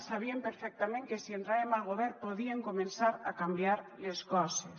sabien perfectament que si entràvem al govern podíem començar a canviar les coses